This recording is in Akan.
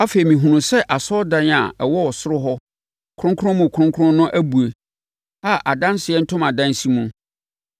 Afei mehunuu sɛ asɔredan a ɛwɔ ɔsoro hɔ no Kronkron mu Kronkron no abue a adanseɛ ntomadan si mu.